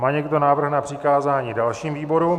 Má někdo návrh na přikázání dalším výborům?